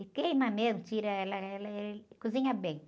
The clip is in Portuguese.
E queima mesmo, tira ela, ela, é, cozinha bem.